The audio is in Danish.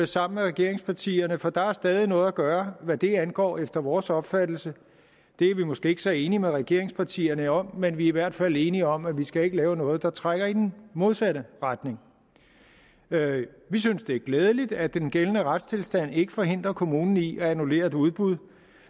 sammen med regeringspartierne for der er stadig noget at gøre hvad det angår efter vores opfattelse det er vi måske ikke så enige med regeringspartierne om men vi er i hvert fald enige om at vi ikke skal lave noget der trækker i den modsatte retning vi synes det er glædeligt at den gældende retstilstand ikke forhindrer kommunen i at annullere et udbud